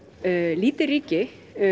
lítið ríki